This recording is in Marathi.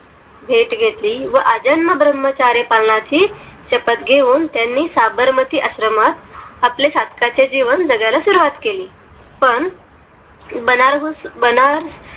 भेट घेतली व आजन्म भ्रमाचार्य पालनाचे शपत घेऊन, त्यांनी साबरमती आश्रमात आपल्या साधकाचे जीवन जगायला सुरवात केली. पण बनारस बनार